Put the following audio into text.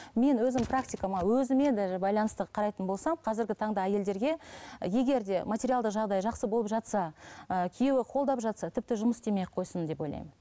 мен өзім практикама өзіме даже байланысты қарайтын болсам қазіргі таңда әйелдерге егер де материалдық жағдайы жақсы болып жатса ы күйеуі қолдап жатса тіпті жұмыс істемей ақ қойсын деп ойлаймын